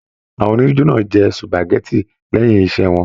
Àwọn onijo náà jẹ supágẹ̀tì lẹyìn iṣẹ wọn.